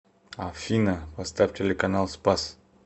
афина поставь телеканал спас